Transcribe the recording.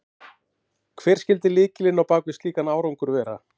Hver skyldi lykillinn á bak við slíkan árangur vera?